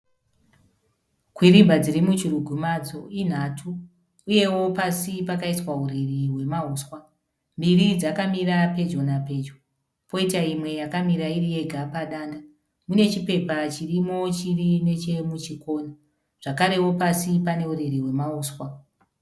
Kwirimba dzirimuchirugwi madzo inhatu uyewo pasi pakaiswa uriri hwemauswa, mbiri dzakamira pedyo napedyo poita imwe yakamira iri yega padanda , mune chipepe chirimo chiri nechemuchikona zvakarewo pasi pane uriri hwemauswa.